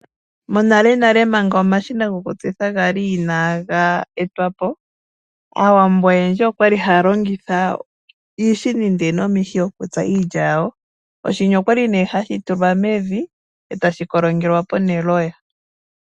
Monalenale manga omashina gokutsitha gali inaaga etwapo. Aawambo oyendji okwali haya longitha iishini ndele nomihi okutsa iilya yawo. Oshini okwali nee hashi tulwa mevi etashi kolongelwa po neloya.